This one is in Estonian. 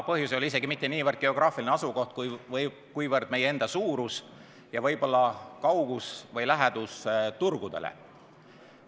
Põhjus ei ole isegi mitte niivõrd geograafiline asukoht, kuivõrd meie enda suurus ja võib-olla kaugus turgudest või lähedus turgudele.